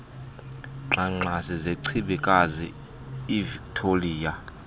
ngxangxasi zechibikazi ivictoliya